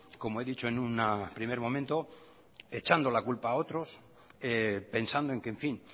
como he dicho en un primer momento echando la culpa a otros pensando en que en fin